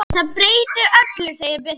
Það breytir öllu, segir Birkir.